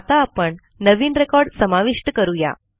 आता आपण नवीन रेकॉर्ड समाविष्ट करू या